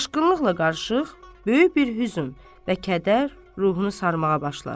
Şaşkınlıqla qarışıq böyük bir hüzn və kədər ruhunu sarmağa başlar.